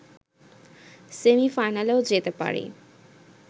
সেমি-ফাইনালেও যেতে পারি